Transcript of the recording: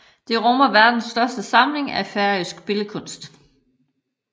Det rummer verdens største samling af færøsk billedkunst